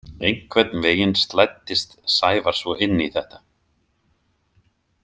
Einhvern veginn slæddist Sævar svo inn í þetta.